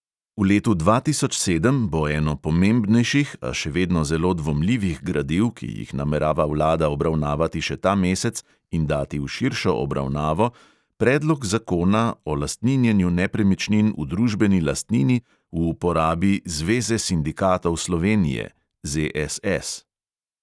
V letu dva tisoč sedem bo eno pomembnejših, a še vedno zelo dvomljivih gradiv, ki jih namerava vlada obravnavati še ta mesec in dati v širšo obravnavo, predlog zakona o lastninjenju nepremičnin v družbeni lastnini v uporabi zveze sindikatov slovenije